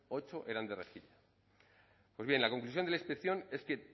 ocho eran de rejilla pues bien la conclusión de la inspección es que